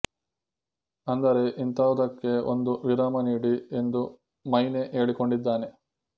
ಅಂದರೆ ಇಂತಹುದಕ್ಕೆ ಒಂದು ವಿರಾಮ ನೀಡಿ ಎಂದು ಮೈನೆ ಹೇಳಿಕೊಂಡಿದ್ದಾನೆ